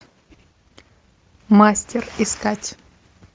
мастер искать